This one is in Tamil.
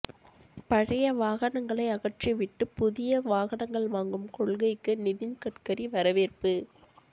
பழைய வாகனங்களை அகற்றிவிட்டு புதிய வாகனங்கள் வாங்கும் கொள்கைக்கு நிதின் கட்கரி வரவேற்பு